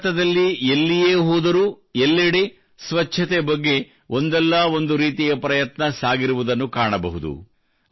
ಭಾರತದಲ್ಲಿ ನೀವು ಎಲ್ಲಿಯೇ ಹೋದರೂ ಎಲ್ಲೆಡೆ ಸ್ವಚ್ಛತೆ ಬಗ್ಗೆ ಒಂದಲ್ಲಾ ಒಂದು ರೀತಿಯ ಪ್ರಯತ್ನ ಸಾಗಿರುವುದನ್ನು ಕಾಣಬಹುದು